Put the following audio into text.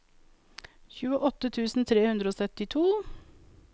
tjueåtte tusen tre hundre og syttito